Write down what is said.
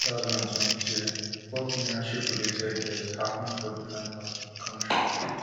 for two thousand and twenty-three four premiership related deaths happun for different parts of di kontri